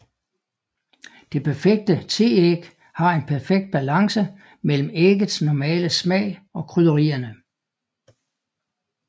Det perfekte teæg har en perfekt balance mellem æggets normale smag og krydderierne